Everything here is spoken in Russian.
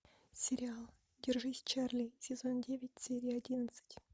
сериал держись чарли сезон девять серия одиннадцать